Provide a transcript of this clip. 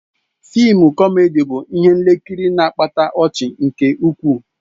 Fịịm kọmedi bụ ihe nkiri na-akpata ọchị nke ukwuu.